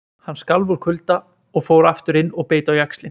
Hann skalf úr kulda og fór aftur inn og beit á jaxlinn.